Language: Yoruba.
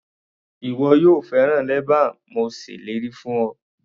Ìwọ yóò fẹ́ràn leban mo ṣèlérí fún ọ.